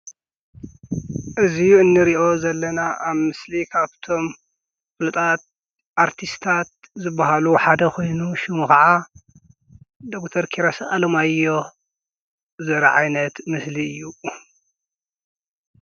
እዙይ እንርእዮ ዘለና ኣብ ምስሊ ካብቶም ፍልጣት ኣርቲስታት ዘበሃሉ ሓደ ኾይኑ ሹሙ ኸዓ ዶኩተር ኪሮስ አሎማዮ ዘረኢ ዓይነት ምስሊ እዩ።